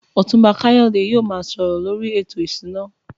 Otunba Kayode yóò máa sọ̀rọ̀ lórí ètò ìṣúná.